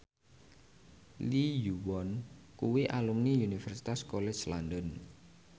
Lee Yo Won kuwi alumni Universitas College London